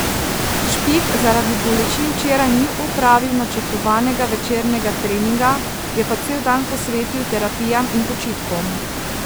Špik zaradi bolečin včeraj ni opravil načrtovanega večernega treninga, je pa cel dan posvetil terapijam in počitku.